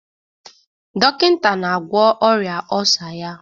Dọkịta na-agwọ ọrịa ọlsa ya